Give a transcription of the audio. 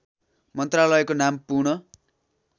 मन्त्रालयको नाम पुन